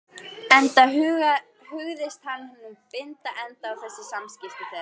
Enda hugðist hann nú binda enda á þessi samskipti þeirra.